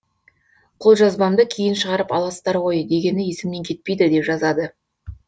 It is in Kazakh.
қолжазбамды кейін шығарып аласыздар ғой дегені есімнен кетпейді деп жазады